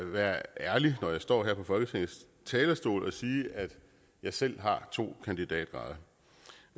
være ærlig når jeg står her på folketingets talerstol og sige at jeg selv har to kandidatgrader